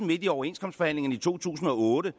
midt i overenskomstforhandlingerne i to tusind og otte